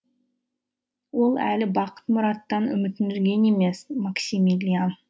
ол әлі бақыт мұраттан үмітін үзген емес максимилиан